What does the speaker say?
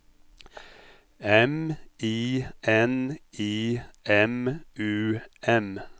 M I N I M U M